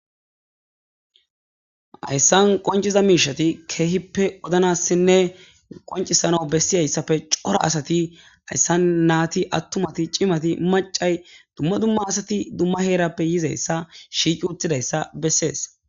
hayssan qonciza miishati keehippe wodnassinne qoncisana bessiyayssafe cora asati ayssan naati attumati cimati macay dumma dumma asati dumma heerappe yizayssa shiici uttidayssa bessees